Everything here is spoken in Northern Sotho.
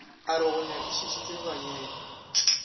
a re go nyakišišwe baneng